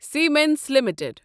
Siemens limited